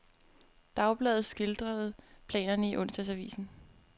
Dagbladet skildrede planerne i onsdagsavisen.